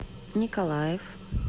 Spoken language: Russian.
николаев